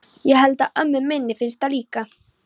Ég held að ömmu minni finnist það líka.